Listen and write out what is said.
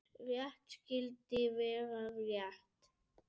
Rétt skyldi vera rétt.